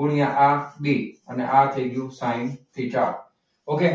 ગુણ્યા R B આ થઈ ગયું સાઇન થીટા okay